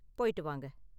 போய்ட்டு வாங்க.